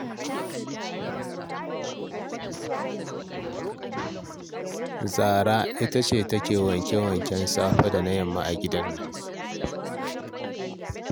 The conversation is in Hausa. Zahra ita ce take wanke-wanke safe da na yamma a gidan nan